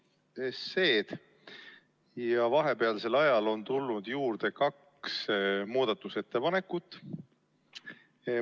vahel tuli juurde kaks muudatusettepanekut.